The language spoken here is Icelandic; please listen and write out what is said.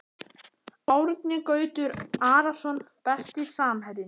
Árni Gautur Arason Besti samherjinn?